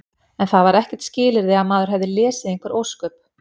En það var ekkert skilyrði að maður hefði lesið einhver ósköp.